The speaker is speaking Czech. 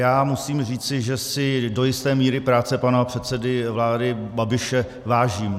Já musím říci, že si do jisté míry práce pana předsedy vlády Babiše vážím.